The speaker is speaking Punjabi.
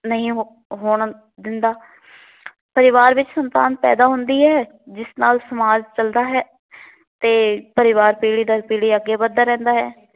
ਨਹੀ ਹੋ ਹੋਣ ਦਿੰਦਾ। ਪਰਿਵਾਰ ਵਿੱਚ ਸੰਤਾਨ ਪੈਂਦਾ ਹੰਦੀ ਹੈ। ਜਿਸ ਨਾਲ ਸਮਾਜ ਚੱਲਦਾ ਹੈ ਤੇ ਪਰਿਵਾਰ ਪੀੜ੍ਹੀ ਦਰ ਪੀੜ੍ਹੀ ਅੱਗੇ ਵੱਧਦਾ ਰਹਿੰਦਾ ਹੈ।